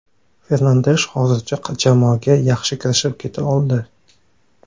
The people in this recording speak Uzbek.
Fernandesh hozircha jamoaga yaxshi kirishib keta oldi.